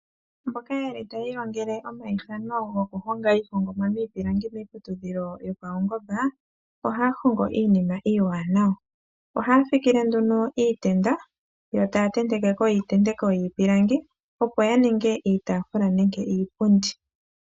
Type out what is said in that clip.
Mboka yeli tayi ilongele omaithano goku honga iihongomwa miipilangi miiputudhilo yopaungomba ohaya hongo iinima iiwanawa, ohaya fikile nduno iitenda yo taya tendekeko iitendeko yiipilangi opo ya ninge iitafuula nenge iipundi.